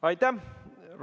Aitäh!